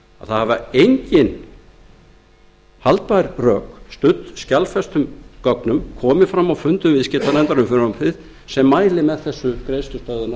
hafa engin haldbær rök studd skjalfestum gögnum komið fram á fundum viðskiptanefndar m frumvarpið sem mælir með þessu greiðslustöðvunar